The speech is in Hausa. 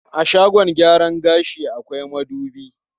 A shagon gyaran gashi akwai madubi.